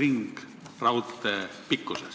ringraudtee pikkusest.